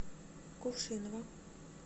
кувшиново